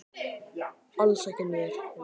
Hvað er leiðinlegast að gera á æfingum?